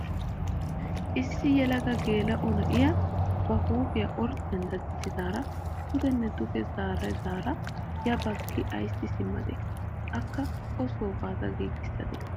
Issi yelaga geela'o na'iyaa ba huuphphiyaa orddiyaan daddisada pudenne duge zaaridaara ya baggi aysi simmadee? akka o soo baada gigisadee?